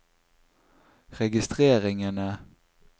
registreringene